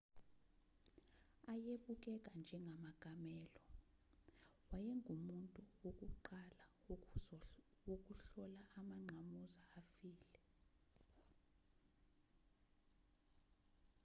ayebukeka njengamakamelo wayengumuntu wokuqala wokuhlola amangqamuzana afile